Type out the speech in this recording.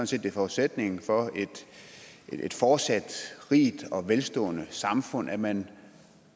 set det er forudsætningen for et fortsat rigt og velstående samfund at man